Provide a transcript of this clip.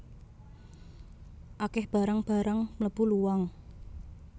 Akeh barang barang mlebu luang